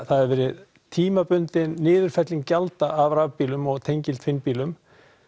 það hafa verið tímabundin niðurfelling gjalda af rafbílum og tengiltvinnbílum